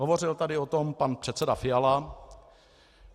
Hovořil tady o tom pan předseda Fiala.